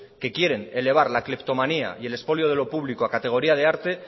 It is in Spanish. que quieren elevar la cleptomanía y el expolio de lo público a categoría de arte